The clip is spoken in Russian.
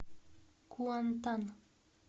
куантан